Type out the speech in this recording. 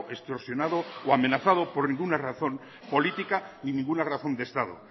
extorsionado o amenazado por ninguna razón política ni ninguna razón de estado